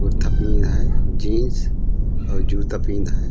और थापने आहे जीन्स और जूता पीहन है।